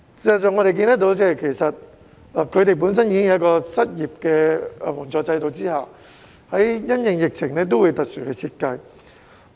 事實上，我們看到他們本身已設有失業援助制度，但因應疫情還會有特別的設計。